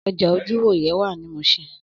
Ọjà ojúwòyẹ̀ wà ní Muṣin